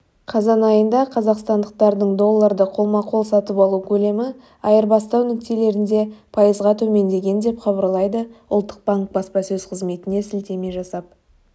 қазан айында қазақстандықтардың долларды қолма-қол сатып алу көлемі айырбастау нүктелерінде пайызға төмендеген деп хабарлайды ұлттық банк баспасөз-қызметіне сілтеме жасап